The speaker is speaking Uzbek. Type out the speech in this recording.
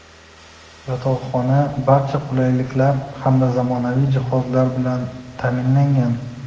yotoqxona barcha qulayliklar hamda zamonaviy jihozlar bilan ta’minlangan.